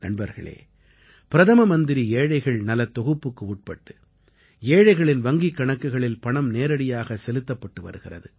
நண்பர்களே பிரதம மந்திரி ஏழைகள் நலத் தொகுப்புக்கு உட்பட்டு ஏழைகளின் வங்கிக் கணக்குகளில் பணம் நேரடியாக செலுத்தப்பட்டு வருகிறது